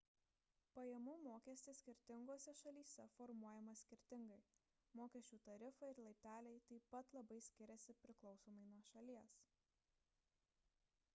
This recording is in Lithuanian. pajamų mokestis skirtingose šalyse formuojamas skirtingai mokesčių tarifai ir laipteliai taip pat labai skiriasi priklausomai nuo šalies